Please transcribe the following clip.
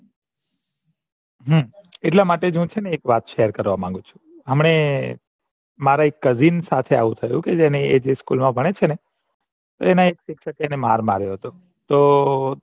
હમ એટલા માટે જ હું સેને એક વાત share કરવા માગું છું હમડે મારે એક cousin સાથે આવું થયું તું ને એ જે school મા ભણેસે ને એના શિક્ષક એને માર માર્યો હતો તો